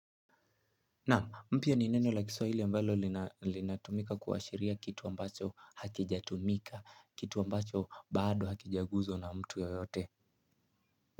Naam mpya ni neno la kiswahili ambalo linatumika kuashiria kitu ambacho hakijatumika kitu ambacho bado hakijaguzwa na mtu yeyote.